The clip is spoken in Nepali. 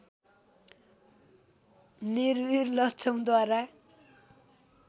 नरविर लक्षमद्वारा